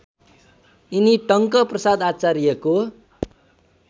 यिनी टङ्कप्रसाद आचार्यको